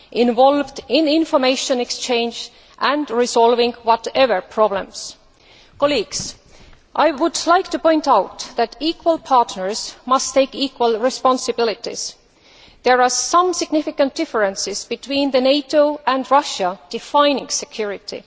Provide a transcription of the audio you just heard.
involved in information exchange and resolving whatever problems. I would like to point out that equal partners must take equal responsibilities. There are some significant differences between NATO and Russia when defining security.